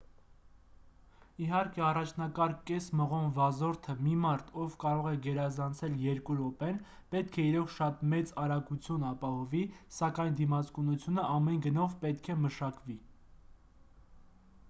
իհարկե առաջնակարգ կես մղոն վազորդը մի մարդ ով կարող է գերազանցել երկու րոպեն պետք է իրոք շատ մեծ արագություն ապահովի սակայն դիմացկունությունը ամեն գնով պետք է մշակվի